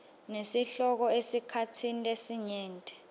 nesihloko esikhatsini lesinyenti